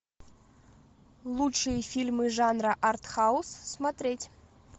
лучшие фильмы жанра арт хаус смотреть